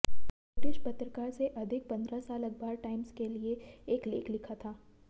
British पत्रकार से अधिक पंद्रह साल अखबार टाइम्स के लिए एक लेख लिखा था